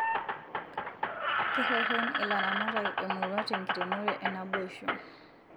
Kereren ilaramatak emurua tenkiremore enaboisho